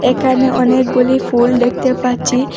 এখানে অনেকগুলি ফুল দেখতে পাচ্ছি।